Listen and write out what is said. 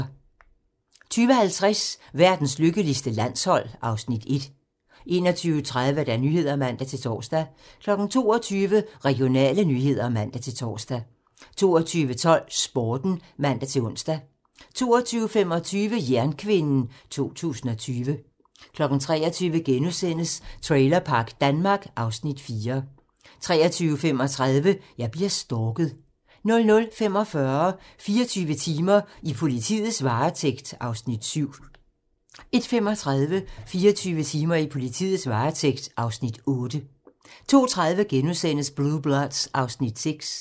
20:50: Verdens lykkeligste landshold (Afs. 1) 21:30: Nyhederne (man-tor) 22:00: Regionale nyheder (man-tor) 22:12: Sporten (man-ons) 22:25: Jernkvinden 2020 23:00: Trailerpark Danmark (Afs. 4)* 23:35: Jeg bliver stalket 00:45: 24 timer: I politiets varetægt (Afs. 7) 01:35: 24 timer: I politiets varetægt (Afs. 8) 02:30: Blue Bloods (Afs. 6)*